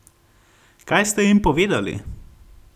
Kaj ste jim povedali?